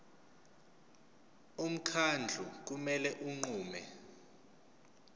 umkhandlu kumele unqume